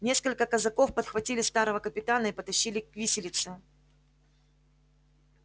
несколько казаков подхватили старого капитана и потащили к виселице